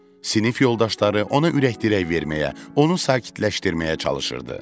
Sinif yoldaşları ona ürəkdirək verməyə, onu sakitləşdirməyə çalışırdı.